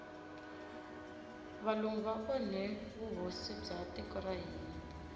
valungu va onhe vuhosi bya tiko ra hina